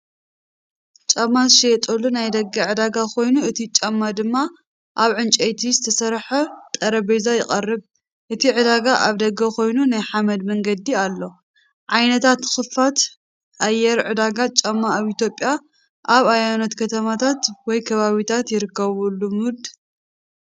ጫማ ዝሽየጠሉ ናይ ደገ ዕዳጋ ኮይኑ፡ እቲ ጫማ ድማ ኣብ ዕንጨይቲ ዝተሰርሐ ጠረጴዛ ይቐርብ። እቲ ዕዳጋ ኣብደገ ኮይኑ፡ ናይ ሓመድ መንገዲ ኣሎ። ዓይነት ክፉት ኣየር ዕዳጋ ጫማ ኣብ ኢትዮጵያ ኣብ ኣየኖት ከተማታት ወይ ከባቢታት ይርከብ ልሙድ?